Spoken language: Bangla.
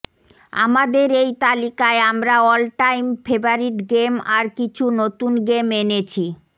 আমাদের এই তালিকায় আমরা অল টাইম ফেবারিট গেম আর কিছু নতন গেম এনেছি